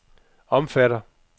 omfatter